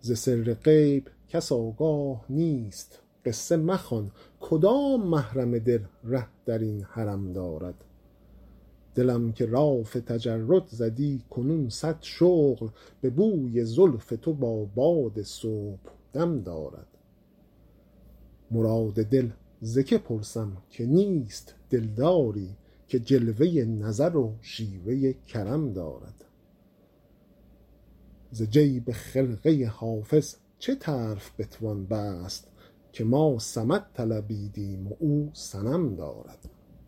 ز سر غیب کس آگاه نیست قصه مخوان کدام محرم دل ره در این حرم دارد دلم که لاف تجرد زدی کنون صد شغل به بوی زلف تو با باد صبحدم دارد مراد دل ز که پرسم که نیست دلداری که جلوه نظر و شیوه کرم دارد ز جیب خرقه حافظ چه طرف بتوان بست که ما صمد طلبیدیم و او صنم دارد